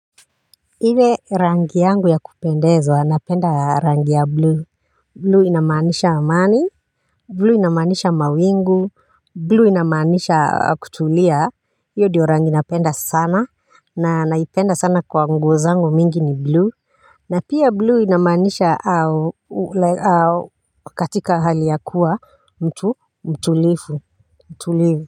Ile rangi yangu ya kupendeza napenda rangi ya blue blue inamaanisha amani blue inamaanisha mawingu blue inamaanisha kutulia. Hiyo ndiyo rangi napenda sana na naipenda sana kwa nguo zangu mingi ni blue na pia blue inamaanisha au au katika hali ya kuwa mtu mtulifu mtulifu.